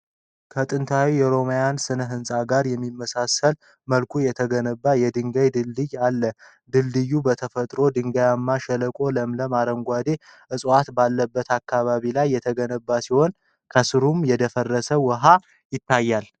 ከጥንት የሮማውያን ሥነ ሕንፃ ጋር በሚመሳሰል መልኩ የተገነባ የድንጋይ ድልድይን አለ። ድልድዩ በተፈጥሮ ድንጋያማ ሸለቆና ለምለም አረንጓዴ ዕፅዋት ባለበት አካባቢ ላይ የተገነባ ሲሆን፣ ከሥሩም የደፈረሰ ውኃ ይታያል።